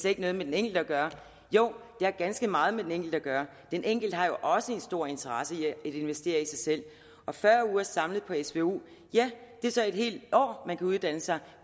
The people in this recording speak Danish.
ikke noget med den enkelte at gøre jo det har ganske meget med den enkelte at gøre den enkelte har jo også en stor interesse i at investere i sig selv og fyrre uger samlet på svu er så et helt år man kan uddanne sig